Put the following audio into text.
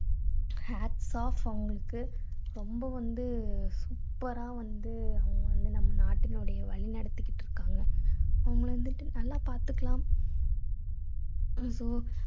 hats off அவங்களுக்கு. ரொம்ப வந்து super ரா வந்து அவங்க வந்து நம்ம நாட்டினுடைய வழி நடத்திகிட்டு இருக்காங்க. அவங்களை வந்துட்டு நல்லா பார்த்துக்கலாம்.